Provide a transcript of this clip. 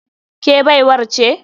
Ke baiwar ce?